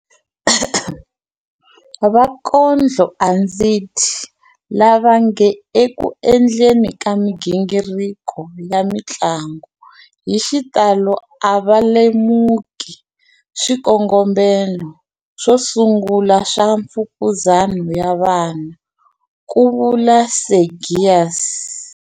Vakondlo a ndzi dyi, lava nge eku endleni ka migingiriko ya mitlangu, hi xitalo a va lemuki swikongomelo swo sungula swa mfukuzana ya vona, ku vula Seegers.